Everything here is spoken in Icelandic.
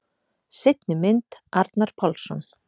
Seinni mynd: Arnar Pálsson.